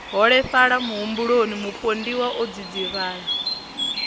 holefhala muhumbuloni mupondiwa o dzidzivhala